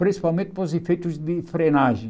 Principalmente para os efeitos de frenagem.